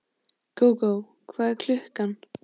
Gógó, hvað er klukkan?